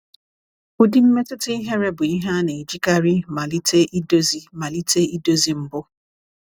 Ụdị mmetụta ihere bụ ihe a na-ejikarị malite idozi malite idozi mbụ.